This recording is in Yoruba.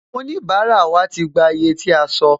Àwọn onibara wa ti gbà iye tí a sọ